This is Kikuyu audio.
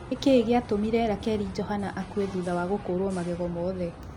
Nĩkĩĩ gĩatũmire Rakeri Johana akue thutha wa gũkũrwo magego mothe?